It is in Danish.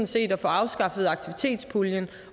set at få afskaffet aktivitetspuljen